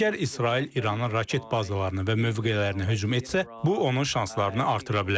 Əgər İsrail İranın raket bazalarını və mövqelərini hücum etsə, bu onun şanslarını artıra bilər.